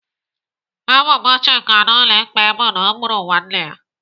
Ebubo Chika na ụlọ ikpe bụ na ọ gburu nwanne ya.